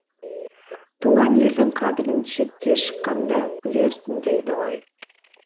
туған елдің қадірін шетке шыққанда білерсің дейді ғой